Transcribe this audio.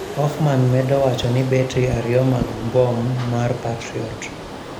Hoffman medo wacho ni betri ariyo mag mbom mar patriot